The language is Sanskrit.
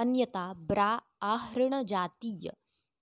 अन्यता ब्राआहृणजातीय